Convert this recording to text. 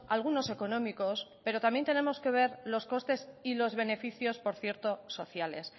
algunos económicos pero también tenemos que ver los costes y los beneficios por cierto sociales